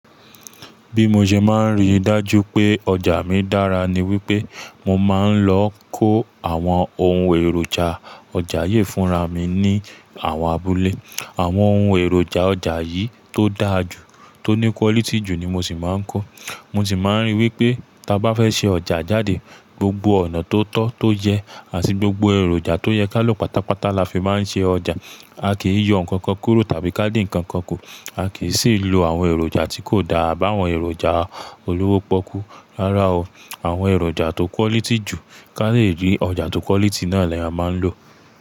Bí mo ṣe máa ń rí dájú pé ọjà mi dára ni wípé mo máa ń lọ kó àwọn ohun èròjà ọjà yìí fúnra mi ní àwọn abúlé. Àwọn ohun èròjà ọjà yìí tó dára jù, tó ní quality jù ni mo sì máa ń kó. Mo sì máa ń rí wípé bá fẹ́ ṣe ọjà jáde, gbogbo ọ̀nà tó tọ́ tó yẹ àti gbogbo èròjà tó yẹ ká lò pátápátá la fi máa ń ṣe ọjà. A kì í yọ ǹkan kan kúrò tàbí ká dín ǹkan kan kù. A kì í sì lò àwọn èròjà tí kò dára àbá àwọn èròjà olówó pọ́kú. Rárá o. Àwọn èròjà tó quality jù, ká lè rí ọjà tó quality náà la ẹ máa ń lò.